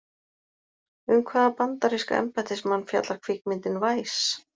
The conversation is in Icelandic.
Um hvaða bandaríska embættismann fjallar kvikmyndin Vice?